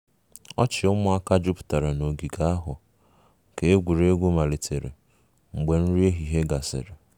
ọchị ụmụaka jupụtara n'ogige ahụ ka egwuregwu malitere mgbe nri ehihie gasịrị